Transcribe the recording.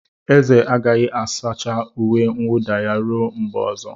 Eze agaghị asacha uwe mwuda ya ruo mgbe ọzọ.